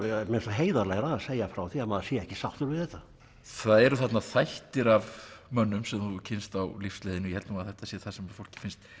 heiðarlegra að segja frá því að maður sé ekki sáttur við þetta það eru þarna þættir af mönnum sem þú hefur kynnst á lífsleiðinni og ég held að þetta sé það sem fólki finnst